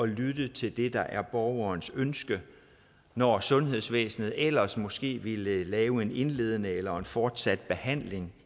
lytte til det der er borgerens ønske når sundhedsvæsenet ellers måske ville lave en indledende eller fortsat behandling